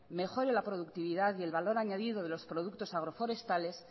mejore la productividad y el valor añadido de los productos agroforestales